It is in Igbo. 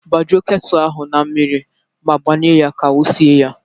Gbajuo ketu ahụ na mmiri ma gbanye ya ka o sie ya.